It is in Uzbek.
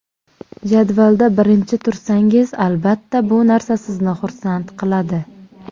Jadvalda birinchi tursangiz, albatta bu narsa sizni xursand qiladi.